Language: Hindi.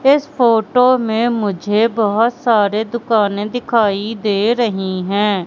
इस फोटो में मुझे बहोत सारे दुकाने दिखाई दे रही हैं।